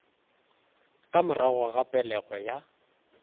ka morago ga pelego ya